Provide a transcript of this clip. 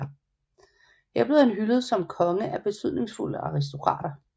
Her blev han hyldet som konge af betydningsfulde aristokrater